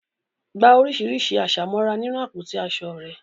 Gba oríṣiríṣi àṣà mọ́ra nínú àpótí aṣọ rẹ.